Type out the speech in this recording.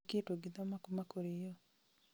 Nĩkĩĩ tũngĩthoma kuuma kũrĩyo ?